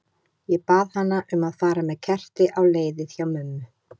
Ég bað hana um að fara með kerti á leiðið hjá mömmu.